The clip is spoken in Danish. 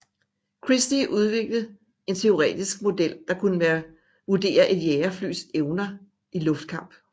Christie udvikle en teoretisk model der kunne vurdere et jagerflys evner i luftkamp